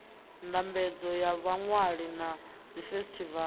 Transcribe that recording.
ndambedzo ya vhaṅwali na dzifesitivala